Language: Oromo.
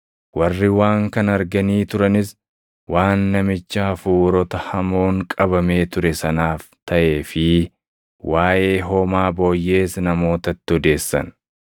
Warri waan kana arganii turanis waan namicha hafuurota hamoon qabamee ture sanaaf taʼee fi waaʼee hoomaa booyyees namootatti odeessan.